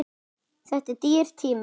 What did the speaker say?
Þetta er dýr tími.